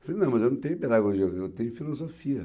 Eu falei, não, mas eu não tenho pedagogia, eu tenho filosofia.